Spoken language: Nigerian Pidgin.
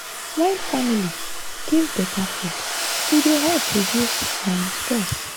wen family give better food e dey help reduce um stress.